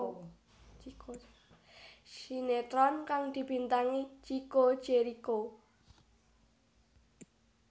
Sinetron kang dibintangi Chico Jericho